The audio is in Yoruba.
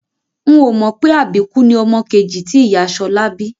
N ò mọ̀ pé àbíkú ni ọmọ kejì tí ìyá Ṣọlá bí